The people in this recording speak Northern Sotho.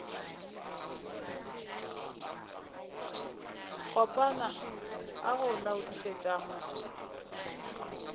kopana a go laodišetša mo